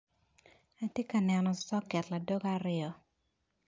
Atye ka neno soket ladoge aryo.